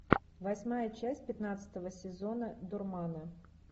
восьмая часть пятнадцатого сезона дурманы